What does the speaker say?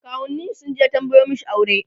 kawunnin shi sunje tambayo mashi aure